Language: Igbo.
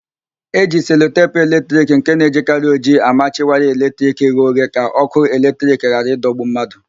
E ji selotepu eletrik nke na-ejikarị ojii amachi waya eletrik ghe oghe ka ókụ́ eletrik ghara ịdọgbu mmadụ.